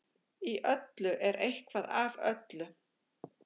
Í öllu er eitthvað af öllu.